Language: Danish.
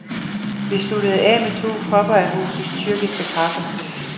Vi sluttede af med to kopper af husets tyrkiske kaffe.